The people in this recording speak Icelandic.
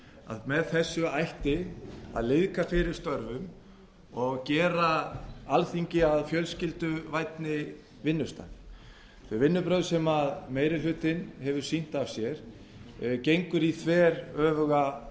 að með þessu ætti að liðka fyrir störfum og gera alþingi að fjölskylduvænni vinnustað þau vinnubrögð sem meiri hlutinn hefur sýnt af sér gengur í þveröfuga